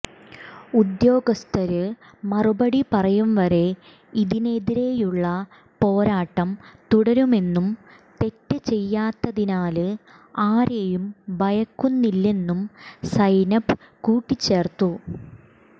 ഉദ്യോഗസ്ഥര് മറുപടി പറയും വരെ ഇതിനെതിരെയുള്ള പോരാട്ടം തുടരുമെന്നും തെറ്റ് ചെയ്യാത്തതിനാല് ആരെയും ഭയക്കുന്നില്ലെന്നും സൈനബ് കൂട്ടിച്ചേര്ത്തു